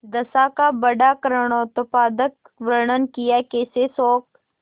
दशा का बड़ा करूणोत्पादक वर्णन कियाकैसे शोक